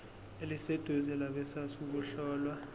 eliseduze labesars ukuhlola